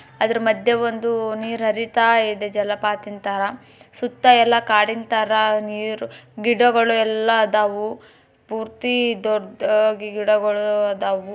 ಅದ್ರೆ ಮಧ್ಯೆ ಒಂದು ನೀರು ಹರಿತಾ ಇದೆ ಜಲಪಾತ ತರ. ಸುತ್ತ ಎಲ್ಲ ಕಾಡಿನ ತರ ನೀರ್ ಗಿಡಗಳೆಲ್ಲ ಅದಾವು ಪೂರ್ತಿ ದೊಡ್ಡಾಗಿ ಗಿಡಗಳ ಆದಾವು.